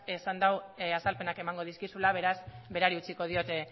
esan du azalpenak emango dizkizula beraz berari utziko diot